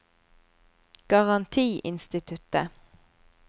garantiinstituttet